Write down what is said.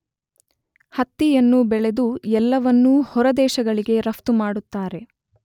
ಹತ್ತಿಯನ್ನು ಬೆಳೆದು ಎಲ್ಲವನ್ನೂ ಹೊರದೇಶಗಳಿಗೆ ರಫ್ತು ಮಾಡುತ್ತಾರೆ.